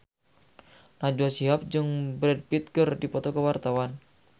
Najwa Shihab jeung Brad Pitt keur dipoto ku wartawan